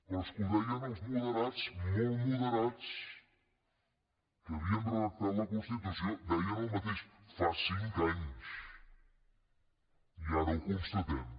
però és que ho deien els moderats molt moderats que havien redactat la constitució deien el mateix fa cinc anys i ara ho constatem